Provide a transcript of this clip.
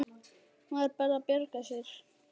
Maður bara bjargar sér.